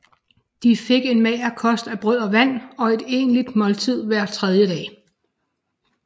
De fik en mager kost af brød og vand og et egentligt måltid hver tredje dag